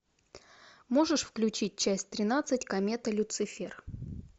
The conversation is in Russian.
можешь включить часть тринадцать комета люцифер